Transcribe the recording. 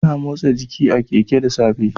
Ana motsa giki a Keke da safe